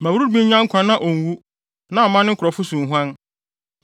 “Ma Ruben nya nkwa na onwu, na mma ne nkurɔfo so nhuan.”